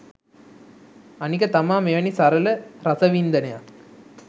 අනික තමා මෙවැනි සරල රසවින්දනයක්